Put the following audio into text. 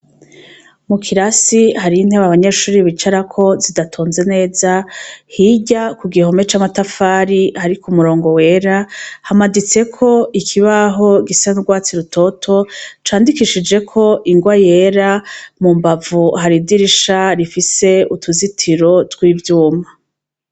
Mu kirasi harimwo intebe abanyeshure bicarako zidatonze neza, hirya ku gihome c'amatafari hariko umurongo wera, hamaditseko ikibaho gisa n'urwatsi rutoto candikishijeho ingwa yera, mu mbavu hari idirisha rifise ituzitiro tw'ivyuma.